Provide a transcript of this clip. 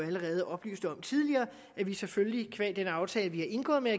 allerede oplyste om tidligere at vi selvfølgelig qua den aftale vi har indgået med